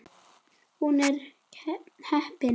Hún er heppin.